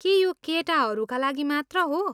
के यो केटाहरूका लागि मात्र हो?